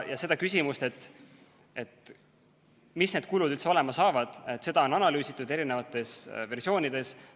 Ja seda küsimust, missugused need kulud üldse tulevad, on analüüsitud erinevates versioonides.